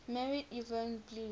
married yvonne blue